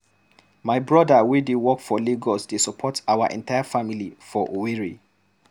My brother wey dey work for Lagos dey support our entire family for Owerri.